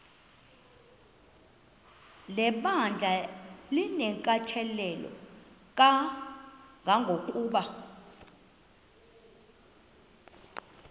lebandla linenkathalo kangangokuba